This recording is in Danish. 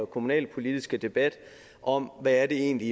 kommunalpolitiske debat om hvad det egentlig